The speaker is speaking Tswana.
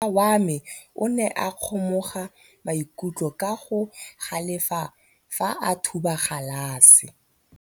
Morwa wa me o ne a kgomoga maikutlo ka go galefa fa a thuba galase.